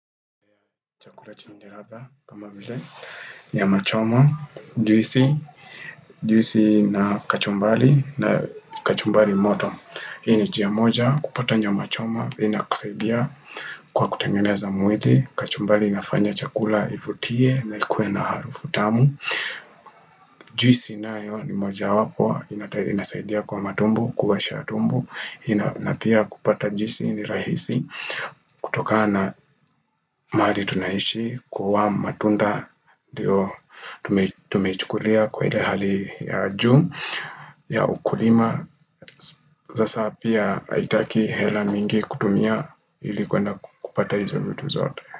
Chakula cha ndiraba kama vile nyama choma, juisi, juisi na kachumbali na kachumbali moto. Hii ni jia moja kupata nyama choma, inakusaidia kwa kutengeneza mwili, kachumbali inafanya chakula ivutie na ikuwe na harufu tamu. Juisi nayo ni moja wapwa, inasaidia kwa matumbo, kuosha tumbo, na pia kupata juisi ni rahisi, kutokana mahali tunaishi kuwa matunda Dio tumeichukulia kwa ile hali ya juu ya ukulima sasa pia aitaki hela mingi kutumia ili kwenda kupata hizo vitu zote.